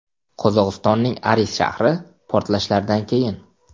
Qozog‘istonning Aris shahri portlashlardan keyin.